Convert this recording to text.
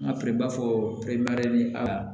N ka feere baa fɔ aa